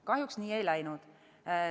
Kahjuks nii ei läinud.